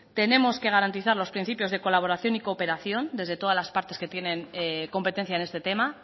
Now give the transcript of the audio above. tenemos que garantizar los principios de colaboración y cooperación desde todas las partes que tienen competencia en este tema